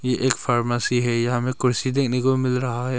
ये एक फार्मेसी है यहाँ में कुर्सी देखने को भी मिल रहा है।